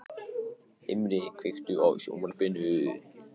Himri, kveiktu á sjónvarpinu.